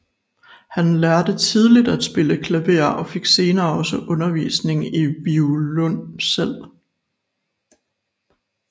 Han lærte tidligt at spille klaver og fik senere også undervisning i violoncel